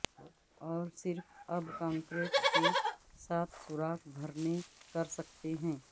اور صرف اب کنکریٹ کے ساتھ سوراخ بھرنے کر سکتے ہیں